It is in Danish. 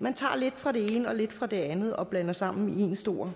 man tager lidt fra det ene og lidt fra det andet og blander sammen i én stor